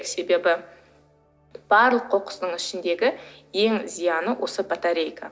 себебі барлық қоқыстың ішіндегі ең зияны осы батарейка